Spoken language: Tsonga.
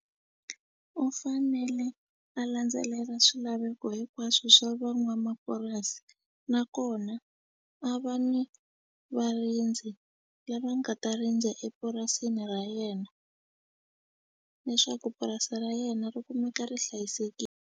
U fanele a landzelela swilaveko hinkwaswo swa van'wamapurasi nakona a va ni varindzi lava nga ta rindza epurasini ra yena leswaku purasi ra yena ri kumeka ri .